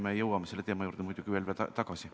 Me jõuame selle teema juurde muidugi veel tagasi.